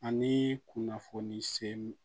Ani kunnafoni se